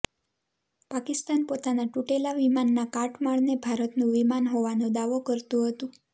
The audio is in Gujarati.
પાકિસ્તાન પોતાના તૂટેલા વિમાનના કાટમાળને ભારતનું વિમાન હોવાનો દાવો કરતું હતું